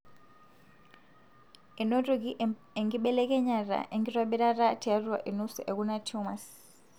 enotoki enkibelekenyata enkitobirata tiatua enusu ekuna tumors.